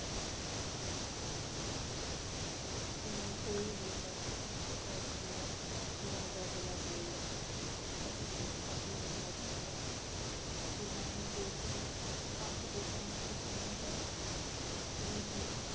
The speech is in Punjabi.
ਜਿਵੇਂ ਕੋਈ ਵੀ ਮਰਦ ਇੱਕ ਔਰਤ ਨੂੰ ਬੁਰਾ ਜਾਂ ਭਲਾ ਬੋਲਦਾ ਤਾਂ ਉਸ ਨੂੰ ਪਾਪੀ ਮੰਨਿਆ ਜਾਂਦਾ ਸੀ। ਗੁਰੂ ਨਾਨਕ ਦੇਵ ਜੀ ਆਖਦੇ ਸਨ ਕਿ ਸਾਨੂੰ ਹਰ ਇਸਤਰੀ ਦੀ